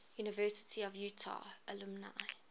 university of utah alumni